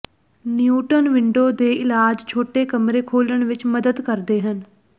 neutral window ਦੇ ਇਲਾਜ ਛੋਟੇ ਕਮਰੇ ਖੋਲ੍ਹਣ ਵਿੱਚ ਮਦਦ ਕਰਦੇ ਹਨ